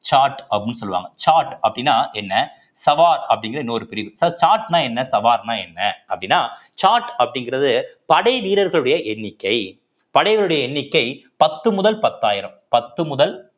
ஜாட் அப்படின்னு சொல்லுவாங்க ஜாட் அப்படின்னா என்ன சவார் அப்படிங்கிற இன்னொரு பிரிவு so ஜாட்ன்னா என்ன சவார்ன்னா என்ன அப்படின்னா ஜாட் அப்படிங்கிறது படை வீரர்களுடைய எண்ணிக்கை படைகளுடைய எண்ணிக்கை பத்து முதல் பத்தாயிரம் பத்து முதல்